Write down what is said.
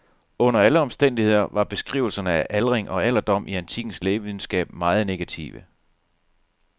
Under alle omstændigheder var beskrivelserne af aldring og alderdom i antikkens lægevidenskab meget negative.